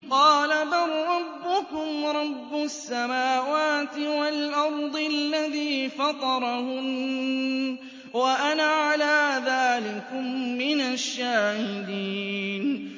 قَالَ بَل رَّبُّكُمْ رَبُّ السَّمَاوَاتِ وَالْأَرْضِ الَّذِي فَطَرَهُنَّ وَأَنَا عَلَىٰ ذَٰلِكُم مِّنَ الشَّاهِدِينَ